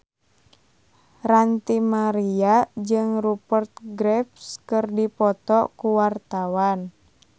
Ranty Maria jeung Rupert Graves keur dipoto ku wartawan